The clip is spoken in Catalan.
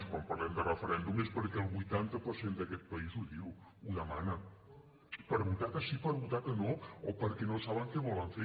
si parlem de referèndum és perquè el vuitanta per cent d’aquest país ho diu ho demana per votar que sí i per votar que no o perquè no saben què volen fer